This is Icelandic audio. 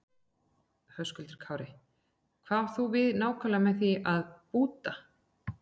Höskuldur Kári: Hvað átt þú við nákvæmlega með því, búta?